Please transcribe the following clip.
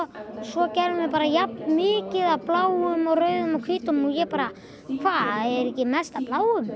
svo gerðum vð bara jafn mikið af bláum og rauðum og hvítum og ég bara hvað er ekki mest af bláum